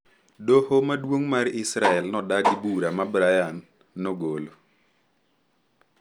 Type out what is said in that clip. Doho Maduong’ mar Israel nodagi bura ma Brian nogolo